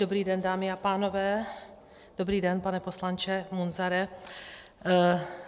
Dobrý den, dámy a pánové, dobrý den, pane poslanče Munzare.